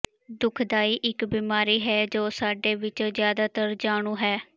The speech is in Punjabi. ਦੁਖਦਾਈ ਇੱਕ ਬੀਮਾਰੀ ਹੈ ਜੋ ਸਾਡੇ ਵਿੱਚੋਂ ਜਿਆਦਾਤਰ ਜਾਣੂ ਹੈ